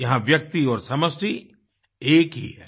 यहाँ व्यक्ति और समष्टि एक ही है